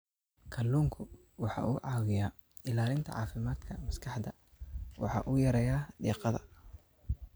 Kalluunku waxa uu caawiyaa ilaalinta caafimaadka maskaxda waxana uu yareeyaa diiqada.